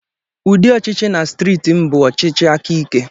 Ụdị ọchịchị na steeti m bụ ọchịchị aka ike.